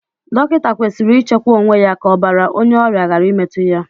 Dọkịta kwesịrị ichekwa onwe ya ka ọbàrà onye ọrịa ghara imetu ya.